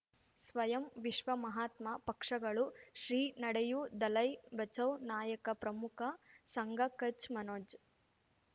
ಸ್ವಯಂ ವಿಶ್ವ ಮಹಾತ್ಮ ಪಕ್ಷಗಳು ಶ್ರೀ ನಡೆಯೂ ದಲೈ ಬಚೌ ನಾಯಕ ಪ್ರಮುಖ ಸಂಘ ಕಚ್ ಮನೋಜ್